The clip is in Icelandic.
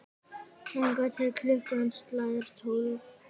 Þangað til klukkan slær tólf.